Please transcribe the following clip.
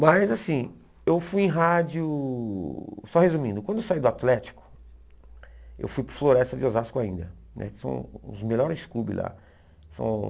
Mas assim, eu fui em rádio, só resumindo, quando eu saí do Atlético, eu fui para o Floresta de Osasco ainda, né que são os melhores clubes lá. São